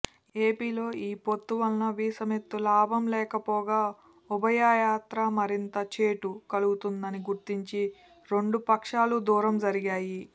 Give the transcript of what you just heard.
ఏపీలో ఈ పొత్తువల్ల వీసమెత్తు లాభం లేకపోగా ఉభయత్రా మరింత చేటు కలుగుతుందని గుర్తించి రెండు పక్షాలూ దూరం జరిగాయి